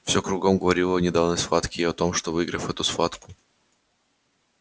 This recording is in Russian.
все кругом говорило о недавней схватке и о том что выиграв эту схватку